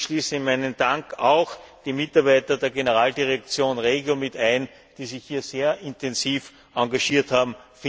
Ich schließe in meinen Dank auch die Mitarbeiter der Generaldirektion REGIO ein, die sich hier sehr intensiv engagiert haben.